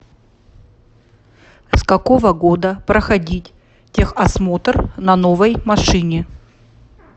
с какого года проходить техосмотр на новой машине